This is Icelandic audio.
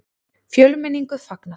Fjölmenningu fagnað